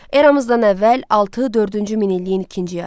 Eramızdan əvvəl altı dördüncü min illiyin ikinci yarısı.